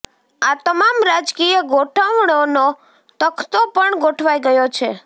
આ તમામ રાજકીય ગોઠવણોનો તખતો પણ ગોઠવાઈ ગયો છે